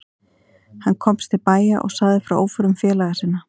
Hann komst til bæja og sagði frá óförum félaga sinna.